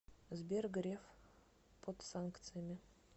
сбер греф под санкциями